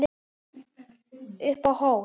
Upp á hól